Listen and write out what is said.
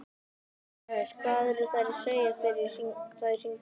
Jóhannes: Hvað eru þær að segja þegar þær hringja?